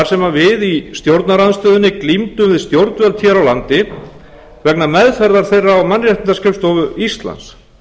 sem við í stjórnarandstöðunni glímdum við stjórnvöld hér á landi vegna meðferðar þeirra á mannréttindaskrifstofu íslands ég